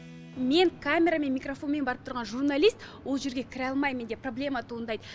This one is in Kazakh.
мен камерамен микрофонмен барып тұрған журналист ол жерге кіре алмаймын менде проблема туындайды